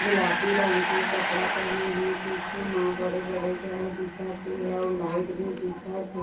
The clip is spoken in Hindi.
गुलाबी रंग के कपड़ा पहने हे पिछू म बड़े-बड़े घर दिखत है और लाइट भी दिखत हे।